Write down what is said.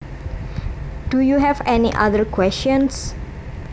Do you have any other questions